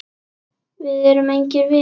Við erum engir vinir.